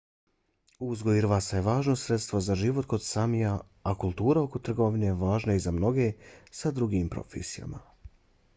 uzgoj irvasa je važno sredstvo za život kod samija a kultura oko trgovine važna je i za mnoge sa drugim profesijama